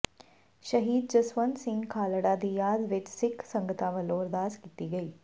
ਸ਼ਹੀਦ ਜਸਵੰਤ ਸਿੰਘ ਖਾਲੜਾ ਦੀ ਯਾਦ ਵਿਚ ਸਿੱਖ ਸੰਗਤਾਂ ਵਲੋਂ ਅਰਦਾਸ ਕੀਤੀ ਗਈ